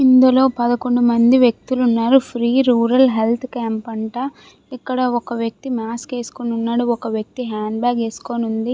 ఇందులో పదకొండు మంది వ్యక్తులు ఉన్నారు ఫ్రీ రూరల్ హెల్త్ క్యాంప్ అంట ఒక వ్యక్తి మాస్క్ వేసుకుని ఉంది ఒక వ్యక్తి హాండ్బాగ్ వేసుకుని ఉంది.